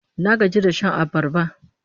Na gaji da shan abarba